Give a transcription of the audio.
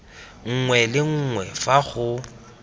nngwe le nngwe fa go